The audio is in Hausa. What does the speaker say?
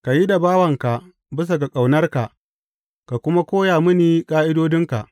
Ka yi da bawanka bisa ga ƙaunarka ka kuma koya mini ƙa’idodinka.